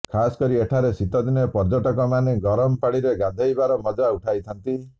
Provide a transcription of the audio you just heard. ଖାସକରି ଏଠାରେ ଶୀତଦିନେ ପର୍ଯ୍ୟଟକମାନେ ଗରମ ପାଣିରେ ଗାଧୋଇବାର ମଜା ଉଠାଇଥାନ୍ତି